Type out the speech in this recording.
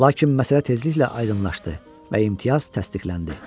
Lakin məsələ tezliklə aydınlaşdı və imtiyaz təsdiqləndi.